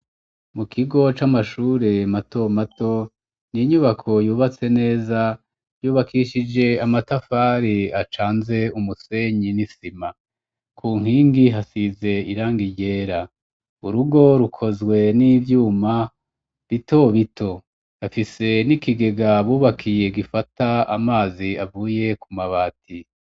Mu kigo c'amashure mato mato, n'inyubako yubatse neza ,yubakishije amatafari acanze umusenyi n'isima, ku nkingi hasize irangi ryera ,urugo rukozwe n'ivyuma bito bito ,hafise n'ikigega bubakiye gifata amazi avuye kumabati.